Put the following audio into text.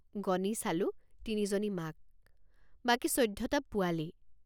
গণি চালোঁ তিনিজনী মাক বাকী চৈধ্যটা পোৱালি।